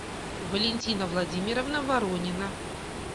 валентина владимировна воронина